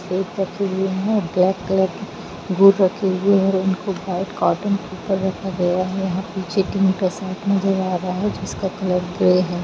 आवाज ठीक से सुनाई नहीं दे रहा है।